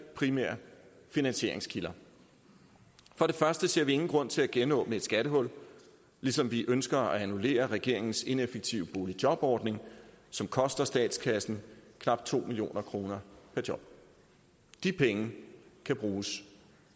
primære finansieringskilder for det første ser vi ingen grund til at genåbne et skattehul ligesom vi ønsker at annullere regeringens ineffektive boligjobordning som koster statskassen knap to million kroner per job de penge kan bruges